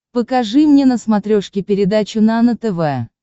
покажи мне на смотрешке передачу нано тв